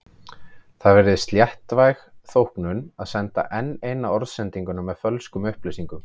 Það virðist léttvæg þóknun að senda enn eina orðsendinguna með fölskum upplýsingum.